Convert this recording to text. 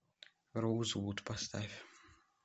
роузвуд поставь